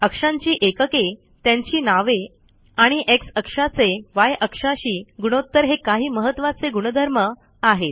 अक्षांची एकके त्यांची नावे आणि एक्स अक्षाचे य अक्षाशी गुणोत्तर हे काही महत्त्वाचे गुणधर्म आहेत